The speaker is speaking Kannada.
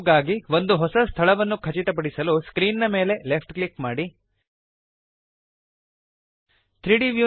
ಕ್ಯೂಬ್ ಗಾಗಿ ಒಂದು ಹೊಸ ಸ್ಥಳವನ್ನು ಖಚಿತಪಡಿಸಲು ಸ್ಕ್ರೀನ್ ನ ಮೇಲೆ ಲೆಫ್ಟ್ ಕ್ಲಿಕ್ ಮಾಡಿರಿ